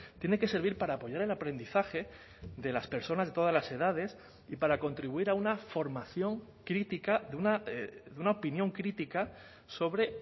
tiene que servir para apoyar el aprendizaje de las personas de todas las edades y para contribuir a una formación crítica de una opinión crítica sobre